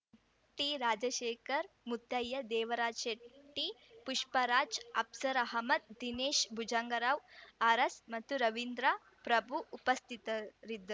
ಟಿರಾಜಶೇಖರ್‌ ಮುತ್ತಯ್ಯ ದೇವರಾಜ್‌ ಶೆಟ್ಟಿ ಪುಷ್ಪರಾಜ್‌ ಅಪ್ಸರ್‌ ಅಹಮದ್‌ ದಿನೇಶ್‌ ಭುಜಂಗರಾವ್ ಅರಸ್‌ ರವೀಂದ್ರ ಪ್ರಭು ಉಪಸ್ಥಿತರಿದ್ದರು